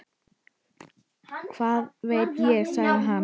Hvað veit ég? sagði hann.